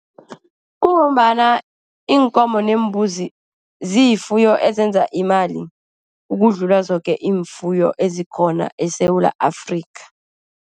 Kungombana iinkomo neembuzi ziyifuyo ezenza imali, ukudlula zoke ifuyo ezikhona eSewula Afrika.